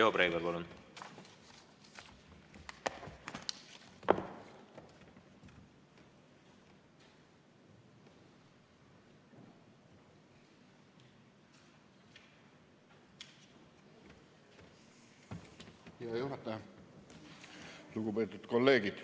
Riho Breivel, palun!